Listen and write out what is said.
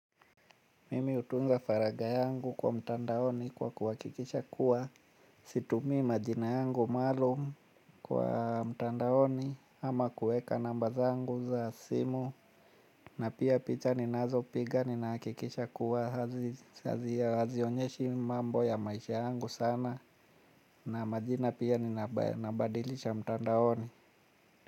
Mimi hutunza faragha yangu kwa mtandaoni kwa kuhakikisha kuwa situmii majina yangu maalum kwa mtandaoni ama kuweka namba zangu za simu. Na pia picha ninazopiga ninahakikisha kuwa hazionyeshi mambo ya maisha yangu sana na majina pia ninabadilisha mtandaoni.